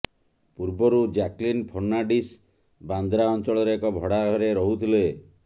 ପୂର୍ବରୁ ଜ୍ୟାକଲିନ ଫର୍ଣ୍ଣାଣ୍ଡିସ ବାନ୍ଦ୍ରା ଅଞ୍ଚଳରେ ଏକ ଭଡ଼ା ଘରେ ରହୁଥିଲେ